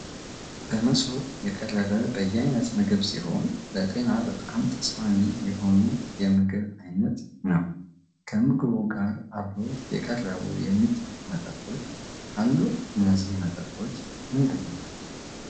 በመሶብ የቀረበ በየአይነት ምግብ ሲሆን ለጤና በጣም ተስማሚ የሆነ የምግብ ዓይነት ነው። ከምግቡ ጋር አብሮ የቀረቡ የሚጠጡ መጠጦች አሉ እነዚህ መጠጦች ምንድን ናቸው?